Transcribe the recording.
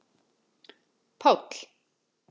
Páll